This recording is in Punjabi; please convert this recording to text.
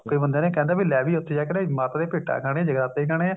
ਇੱਕ ਦੋ ਬੰਦਿਆ ਨੇ ਕਹਿੰਦੇ ਵੀ ਲੈ ਉੱਥੇ ਜਾ ਕੇ ਮਾਤਾ ਦੀਆਂ ਭੇਟਾ ਗਾਂਣੀਆ ਜਗਰਾਤੇ ਤੇ ਜਾਣਾ